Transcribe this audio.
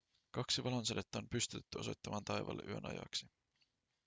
kaksi valonsädettä on pystytetty osoittamaan taivaalle yön ajaksi